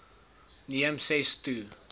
neem ses to